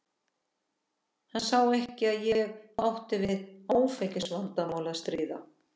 Hann sá ekki að ég átti við áfengisvandamál að stríða.